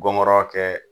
Gɔngɔrɔ kɛ